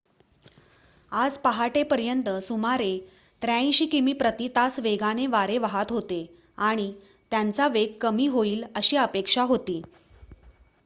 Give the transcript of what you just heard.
आज पहाटेपर्यंत सुमारे ८३ किमी प्रति तास वेगाने वारे वाहत होते आणि त्यांचा वेग कमी होईल अशी अपेक्षा होती